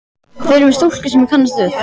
Þið eruð með stúlku sem ég kannast við!